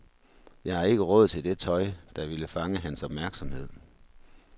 Jeg har ikke råd til det tøj, der ville fange hans opmærksomhed.